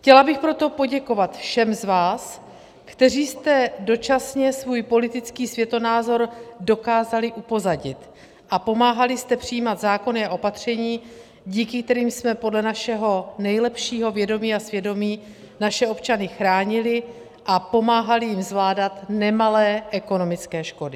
Chtěla bych proto poděkovat všem z vás, kteří jste dočasně svůj politický světonázor dokázali upozadit a pomáhali jste přijímat zákony a opatření, díky kterým jsme podle našeho nejlepšího vědomí a svědomí naše občany chránili a pomáhali jim zvládat nemalé ekonomické škody.